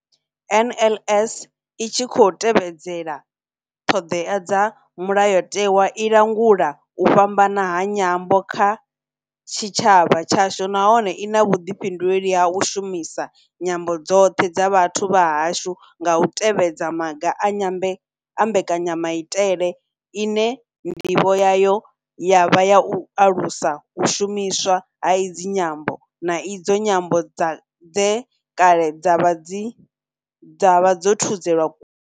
NLS I tshi khou tevhedza ṱhodea dza Mulayo tewa, i langula u fhambana ha nyambo kha tshitshavha tshashu nahone I na vhuḓifhinduleli ha u shumisa nyambo dzoṱhe dza vhathu vha hashu nga u tevhedza maga a mbekanya maitele ine ndivho yayo ya vha u alusa u shumiswa ha idzi nyambo, na idzo nyambo dze kale dza vha dzo thudzelwa.